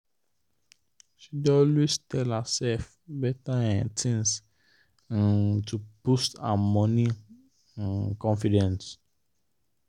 she dey always tell herself better um things um to boost her money um confidence.